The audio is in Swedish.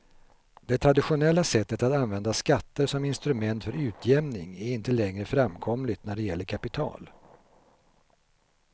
Det traditionella sättet att använda skatter som instrument för utjämning är inte längre framkomligt när det gäller kapital.